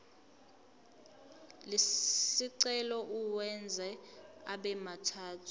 lesicelo uwenze abemathathu